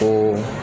O